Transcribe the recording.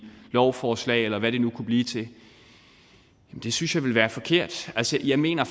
lovforslag eller hvad det nu kunne blive til det synes jeg ville være forkert altså jeg mener